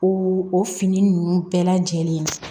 O o fini ninnu bɛɛ lajɛlen